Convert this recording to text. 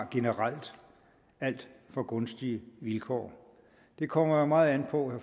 generelt har alt for gunstige vilkår det kommer meget an på